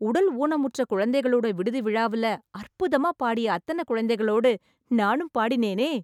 உடல் ஊனமுற்ற குழந்தைங்களோட விடுதி விழாவுல, அற்புதமா பாடிய அத்தன குழந்தைகளோடு நானும் பாடினேனே...